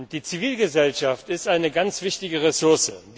Die Zivilgesellschaft ist eine ganz wichtige Ressource.